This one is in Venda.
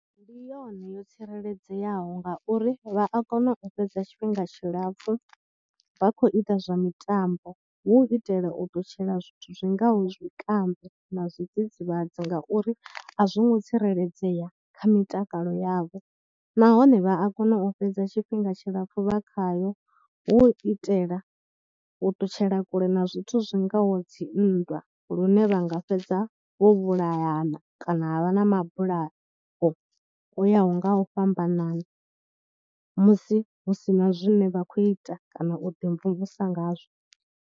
Ndi yone yo tsireledzeaho ngauri vha a kona u fhedza tshifhinga tshilapfhu vha kho ita zwa mitambo hu u itela u ṱutshela zwithu zwi ngaho zwikambi na zwidzidzivhadzi ngauri a zwo ngo tsireledzea kha mitakalo yavho. Nahone vha a kona u fhedza tshifhinga tshilapfhu vha khayo hu u itela u ṱutshela kule na zwithu zwi ngaho dzi nndwa lune vha nga fhedza vho vhulayana kana ha vha na mabulayo o yaho nga u fhambanana musi hu si na zwine vha khou ita kana u ḓimvumvusa ngazwo.